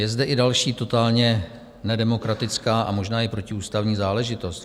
Je zde i další totálně nedemokratická a možná i protiústavní záležitost.